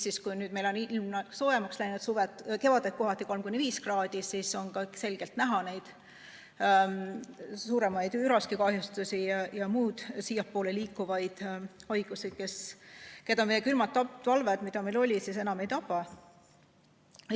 Nüüd, kui meil on ilm soojemaks läinud, kevaditi kohati 3–5 kraadi, on see selgelt näha: on suuremad üraskikahjustused ja muud siiapoole liikuvad haigused, mille tekitajaid külmad talved, mis meil enne olid, enam ei tapa.